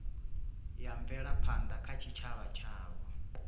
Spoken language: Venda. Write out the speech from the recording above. ya mvelaphanda kha tshitshavha tshavho